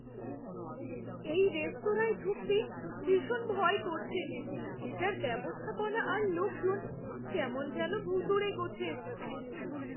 এই রেস্তোরাঁয় ঢুকতে ভীষণ ভয় করছে। এটার ব্যবস্থাপনা আর লোকজন কেমন যেন ভূতুড়ে গোছের।